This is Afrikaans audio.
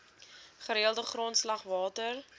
gereelde grondslag water